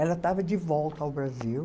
Ela estava de volta ao Brasil.